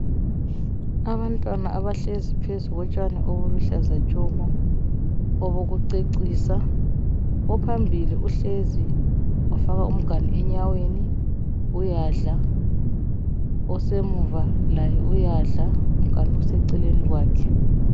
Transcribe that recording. Abantwana abahlezi phezu lotshani obuluhlaza tshoko obokucecisa ophambili uhlezi wafaka umganu enyaweni uyadla osemuva laye uyadla umganu useceleni kwakhe.